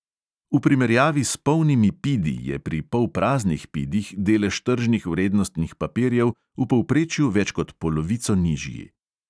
V primerjavi s polnimi pidi je pri polpraznih pidih delež tržnih vrednostnih papirjev v povprečju več kot polovico nižji.